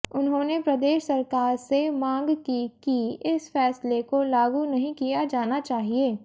उन्होंने प्रदेश सरकार से मांग की कि इस फैसले को लागू नहीं किया जाना चाहिए